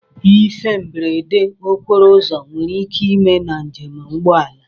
Ihe mberede okporo ụzọ nwere ike ime na nje m ụgbọala.